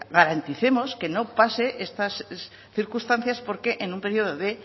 garanticemos que no pasen estas circunstancias porque en un periodo de